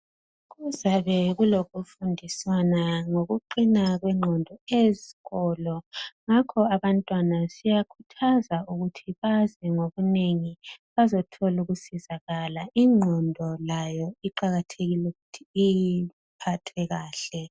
Kuzabe kulokufundisana ngokuqina kwengqondo ezikolo , ngakho abantwana siyakhuthaza ukuthi baze ngobunengi bazothola ukusizakala , ingqondo layo iqakathekile ukuthi uyiphathe kahle